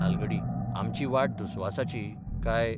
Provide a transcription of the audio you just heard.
तालगडी आमची वाट दुस्वासाची, काय...?